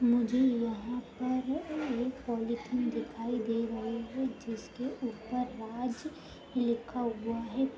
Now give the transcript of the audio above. मुझे यहां पर एक पॉलिथीन दिखाए दे रही है जिसके ऊपर राज लिखा हुआ है।